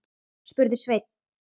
spurði Sveinn.